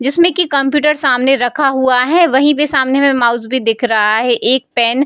जिसमे की कंप्यूटर सामने रखा हुआ है वहीं पे सामने में माउस भी दिख रहा है एक पेन --